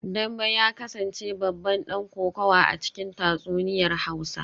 Dambe ya kasance babban dan kokawa a cikin tatsuniyar hausa